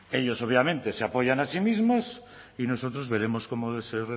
ellos obviamente se apoyan a sí mismos y nosotros veremos cómo se